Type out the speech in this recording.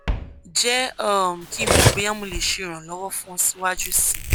jẹ um ki n mọ boya mo le ṣe iranlọwọ fun ọ siwaju sii